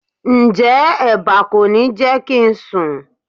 Ǹjẹ́ eba kò ní jẹ́ kí n sùn?